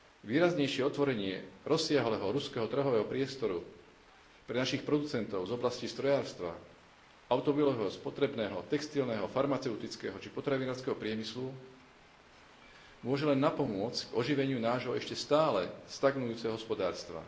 Výraznejšie otvorenie rozsiahleho ruského trhového priestoru pre našich producentov z oblastí strojárstva, automobilového, spotrebného, textilného, farmaceutického či potravinárskeho priemyslu môže len napomôcť oživeniu nášho ešte stále stagnujúceho hospodárstva.